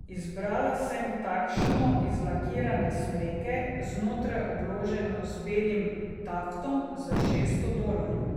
Izbrala sem takšno iz lakirane smreke, znotraj obloženo z belim taftom, za šeststo dolarjev.